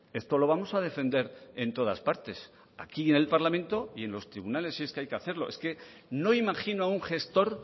esto lo vamos a defender en todas partes aquí en el parlamento y en los tribunales si es que hay que hacerlo es que no imagino a un gestor